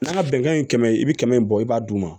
N'a bɛnkan ye kɛmɛ ye i bi kɛmɛ in bɔ i b'a d'u ma